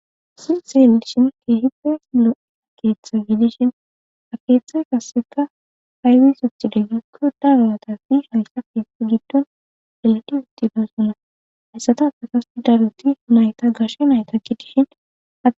Hayssi xelishin keehide silo keetha giidishin akeethe kasseka aywisotide gikko darawatasi hayssa fisi giddon elati wittida sunna hayssata ada kast daruti mayta gashe nayta ki dihina